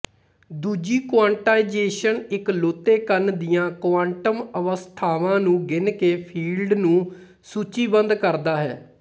ਦੂਜੀ ਕੁਆਂਟਾਇਜ਼ੇਸ਼ਨ ਇਕਲੌਤੇ ਕਣ ਦੀਆਂ ਕੁਆਂਟਮ ਅਵਸਥਾਵਾਂ ਨੂੰ ਗਿਣ ਕੇ ਫੀਲਡ ਨੂੰ ਸੂਚੀਬੱਧ ਕਰਦਾ ਹੈ